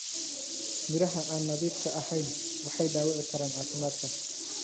Miraha aan nadiifka ahayn waxay dhaawici karaan caafimaadka.